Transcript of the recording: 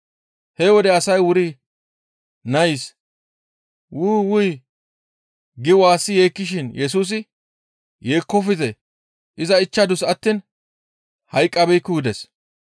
He wode asay wuri nays, «Wu! Wuy» gi waassi yeekkishin Yesusi, «Yeekkofte; iza ichchadus attiin hayqqabeekku» gides.